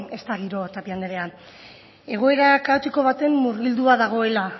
ez da giroa tapia anderea egoera kaotiko baten murgildua dagoela